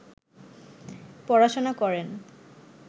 পড়াশুনা করেন